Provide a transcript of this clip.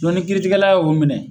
Dɔnki ni kiritigɛla y'o minɛ.